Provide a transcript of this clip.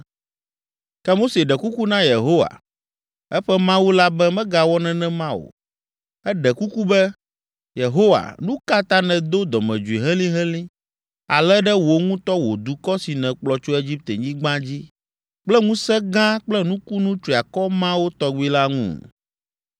Ke Mose ɖe kuku na Yehowa, eƒe Mawu la be megawɔ nenema o. Eɖe kuku be, “Yehowa, nu ka ta nèdo dɔmedzoe helĩhelĩ ale ɖe wò ŋutɔ wò dukɔ si nèkplɔ tso Egiptenyigba dzi kple ŋusẽ gã kple nukunu triakɔ mawo tɔgbi la ŋu?